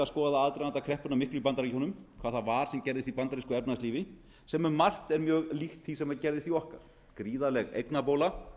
skoða aðdraganda kreppunnar miklu í bandaríkjunum hvað það var sem gerðist í bandarísku efnahagslífi sem um margt er mjög líkt því sem gerðist í okkar gríðarleg eignabóla